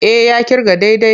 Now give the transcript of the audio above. E, ya ƙirga daidai.